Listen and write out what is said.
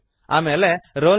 ಆಮೇಲೆ ರೋಲ್ ನಂ